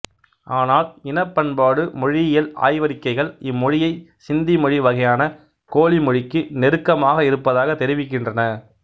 ஆனால் இனப்பண்பாட்டு மொழியியல் ஆய்வறிக்கைகள் இம்மொழியை சிந்தி மொழி வகையான கோலி மொழிக்கு நெருக்கமாக இருப்பதாக தெரிவிக்கின்றன